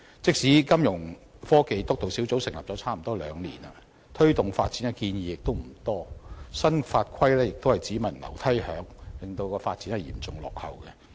即使金融科技督導小組已成立差不多兩年，推動發展的建議亦不多，新法規亦是只聞樓梯響，令發展嚴重落後。